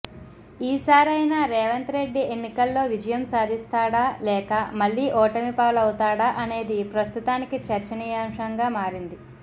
ఈసారైనా రేవంత్ రెడ్డి ఎన్నికల్లో విజయం సాధిస్తాడా లేక మళ్ళీ ఓటమిపాలవుతాడా అనేది ప్రస్తుతానికి చర్చనీయాంశంగా మారింది